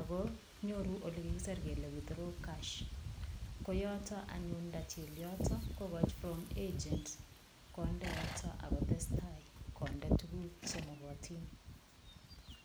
ako nyoru ole kikiser kele withdraw cash ko yoto anyun ndachil yoto kokochi from agent konde yoto akotestai konde tukuk chemokotin